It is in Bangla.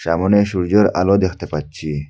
সামোনে সূর্যের আলো দেখতে পাচ্ছি।